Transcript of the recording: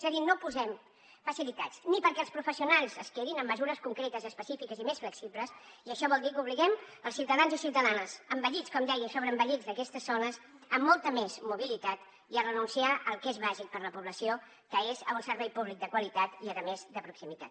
és a dir no posem facilitats ni perquè els professionals es quedin amb mesures concretes específiques i més flexibles i això vol dir que obliguem els ciutadans i ciutadanes envellits com deia i sobreenvellits d’aquestes zones a molta més mobilitat i a renunciar al que és bàsic per a la població que és a un servei públic de qualitat i a més de proximitat